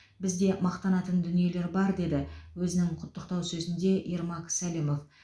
бізде мақтанатын дүниелер бар деді өзінің құттықтау сөзінде ермак сәлімов